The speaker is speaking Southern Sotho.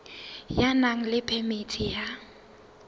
ya nang le phemiti ya